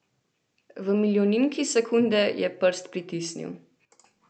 V milijoninki sekunde je prst pritisnil.